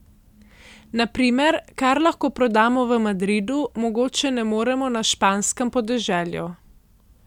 Na primer, kar lahko prodamo v Madridu, mogoče ne moremo na španskem podeželju.